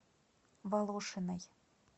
волошиной